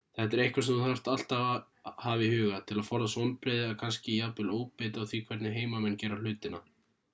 þetta er eitthvað sem þú þarft alltaf að hafa í huga til að forðast vonbrigði eða kannski jafnvel óbeit á á því hvernig heimamenn gera hlutina